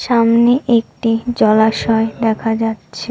সামনে একটি জলাশয় দেখা যাচ্ছে।